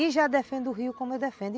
E já defendo o rio como eu defendo.